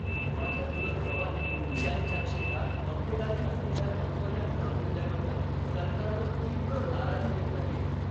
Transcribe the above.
माझ्या चुलत भावाने त्यांच्या क्षेत्रात मक्तेदारी असलेल्या कंपन्या न घेतल्याबद्दल सरकारवर तीव्र नाराजी व्यक्त केली.